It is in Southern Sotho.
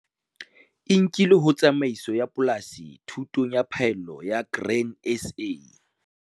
E nkilwe ho Tsamaiso ya Polasi Thutong ya Phaello ya Grain SA